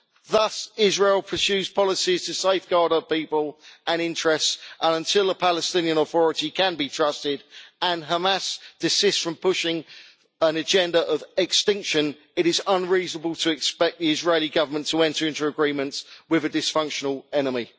Thus, Israel pursues policies to safeguard her people and interests, and until until a Palestinian authority can be trusted and Hamas desists from pushing an agenda of extinction, it is unreasonable to expect the Israeli Government to enter into agreements with a dysfunctional enemy.